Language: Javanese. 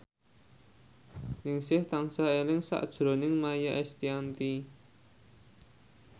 Ningsih tansah eling sakjroning Maia Estianty